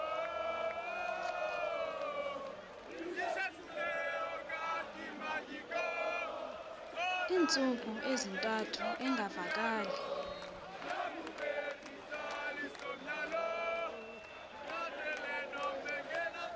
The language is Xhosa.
iintsuku ezintathu engavakali